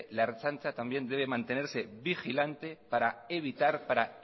la ertzaintza también debe mantenerse vigilante para evitar para